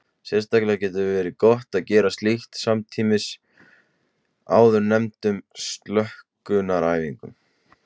Sérstaklega getur verið gott að gera slíkt samtímis áðurnefndum slökunaræfingum.